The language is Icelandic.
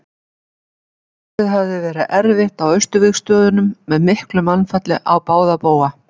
árið hafði verið erfitt á austurvígstöðvunum með miklu mannfalli á báða bóga